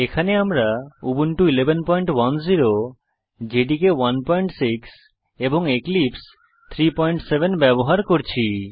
এখানে আমরা Ubuntu 1110 J D K 16 এবং এক্লিপসে 37 ব্যবহার করছি